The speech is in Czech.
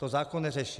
To zákon neřeší.